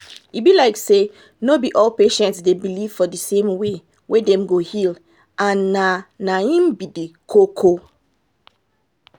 e be like say no be all patients dey believe for di same way wey dem go heal and na na im be di koko.